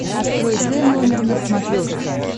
открой т номер на смотрешке